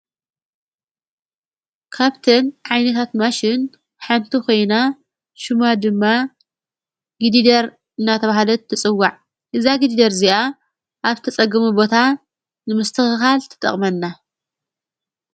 ካብትን ዓይኔታት ማሽን ሓንቲ ኾይና ሹማ ድማ ጊዲደር እናተብሃደት ትጽዋዕ እዛ ጊዲደር እዚኣ ኣብተጸግሙ ቦታ ንምስ ትኽኻል ትጠቕመና።